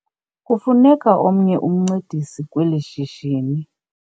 Kufuneka omnye umncedisi kweli shishini.